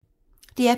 DR P3